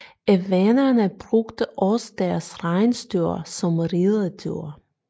Evenerne brugte også deres rensdyr som ridedyr